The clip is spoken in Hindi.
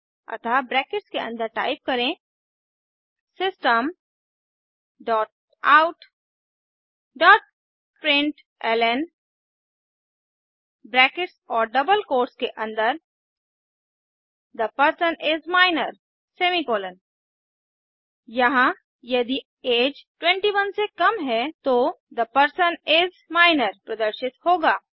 अतः ब्रैकेट्स के अन्दर टाइप करें system dot out dot println brackets और डबल कोट्स के अन्दर the person is minor semicolon यहाँ यदि अगे 21 से कम है तो थे पर्सन इस माइनर प्रदर्शित होगा